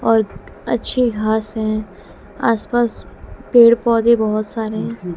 और अच्छी घास है आसपास पेड़ पौधे बहुत सारे--